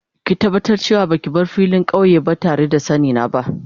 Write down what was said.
Ki tabatar da ce wa ba ki bar filin kauye ba tare da sanni na ba.